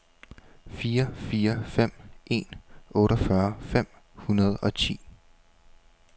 fire fire fem en otteogfyrre fem hundrede og ti